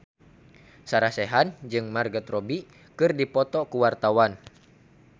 Sarah Sechan jeung Margot Robbie keur dipoto ku wartawan